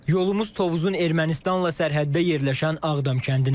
Yolumuz Tovuzun Ermənistanla sərhəddə yerləşən Ağdam kəndinədir.